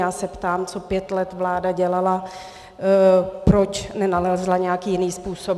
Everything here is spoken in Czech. Já se ptám, co pět let vláda dělala, proč nenalezla nějaký jiný způsob.